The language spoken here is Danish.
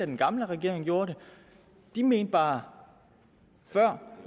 den gamle regering gjorde det de mente bare før